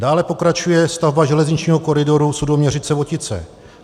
Dále pokračuje stavba železničního koridoru Sudoměřice - Votice.